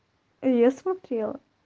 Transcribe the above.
я смотрела